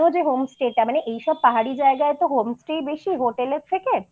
home stay টা মানে এইসব পাহাড়ি জায়গায় তো home stay বেশি হোটেলের থেকে